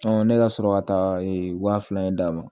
ne ka sɔrɔ ka taa wa fila in d'a ma